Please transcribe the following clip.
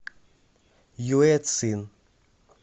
юэцин